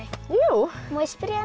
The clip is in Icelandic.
jú má ég spyrja þig